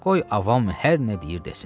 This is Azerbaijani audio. Qoy avam hər nə deyir desin.